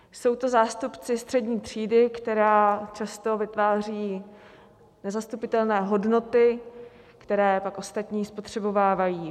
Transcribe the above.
Jsou to zástupci střední třídy, která často vytváří nezastupitelné hodnoty, které pak ostatní spotřebovávají.